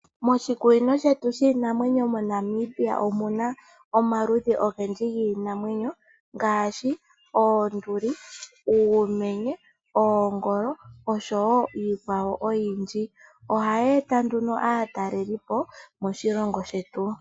Moshikunino shetu shiinamwenyo moNamibia omaludhi ogendji giinamwenyo ngaashi, oonduli, uumenye, oongolo osho wo iikwawo oyindji. Oha yi enta nduno aatalelipo moshilongo shetu.